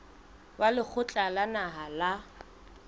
wa lekgotla la naha la